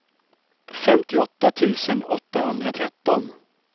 femtioåtta tusen åttahundratretton